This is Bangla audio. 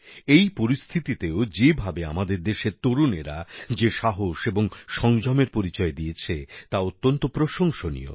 এই পরিস্থিতিতেও যেভাবে আমাদের দেশের তরুণেরা যে সাহস এবং সংযমের পরিচয় দিয়েছে তা অত্যন্ত প্রশংসনীয়